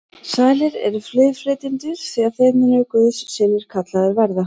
Sælir eru friðflytjendur, því að þeir munu guðs synir kallaðir verða.